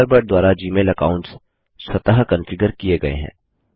Thunderbird द्वारा Gmail accounts स्वतः configure किए गये हैं